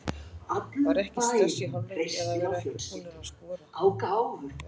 Var ekkert stress í hálfleik að vera ekki búnar að skora?